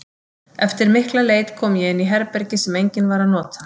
Eftir mikla leit kom ég inn í herbergi sem enginn var að nota.